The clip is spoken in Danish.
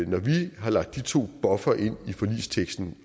når vi har lagt de to buffere ind i forligsteksten